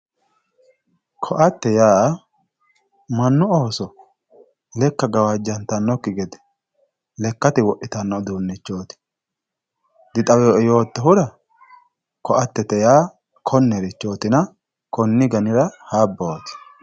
ko"atte yaa mannu ooso lekka gawajjantannokki gede lekkate wodhitanno uduunnichooti dixawinoe yoottohura ko"attete yaa konnerichootina konni ganira habbooti